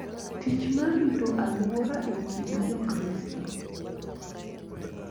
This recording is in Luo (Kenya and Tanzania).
Tich mar rito alwora e kind Jokristo